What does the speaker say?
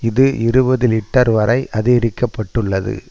இது இருபது லீட்டர் வரை அதிகரிக்க பட்டுள்ளது